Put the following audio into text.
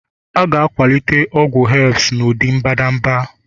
A ga-akwalite ọgwụ herbs n'ụdị mbadamba